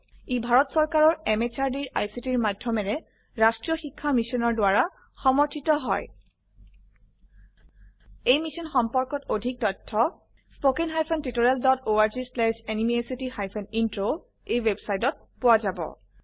ই ভাৰত চৰকাৰৰ MHRDৰ ICTৰ মাধয়মেৰে ৰাস্ত্ৰীয় শিক্ষা মিছনৰ দ্ৱাৰা সমৰ্থিত হয় এই মিশ্যন সম্পৰ্কত অধিক তথ্য spoken hyphen tutorial dot org slash এনএমইআইচিত হাইফেন ইন্ট্ৰ ৱেবচাইটত পোৱা যাব